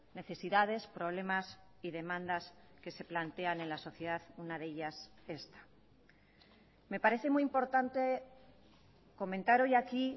necesidades problemas y demandas que se plantean en la sociedad una de ellas esta me parece muy importante comentar hoy aquí